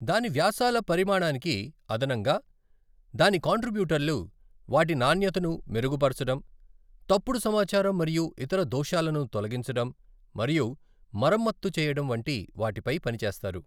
దాని వ్యాసాల పరిమాణానికి అదనంగా, దాని కంట్రిబ్యూటర్లు వాటి నాణ్యతను మెరుగుపరచడం, తప్పుడు సమాచారం మరియు ఇతర దోషాలను తొలగించడం మరియు మరమ్మత్తు చేయడం వంటి వాటిపై పనిచేస్తారు.